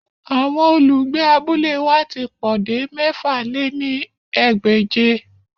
Awọn olugbe abule wa ti po de mẹ̀fà lé ní ẹgbẹ́je.